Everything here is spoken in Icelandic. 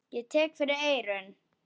Ég tek fyrir eyrun.